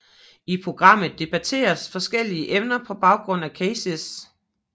I programmet debatteres forskellige emner på baggrund af cases